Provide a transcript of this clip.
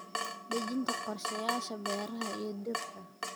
Dejinta qorshayaasha beeraha iyo dhirta.